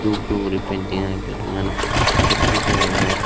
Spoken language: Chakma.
dhup dhup guri painting agey building anot khirki dega jar.